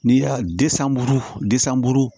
N'i y'a de san buru de san buru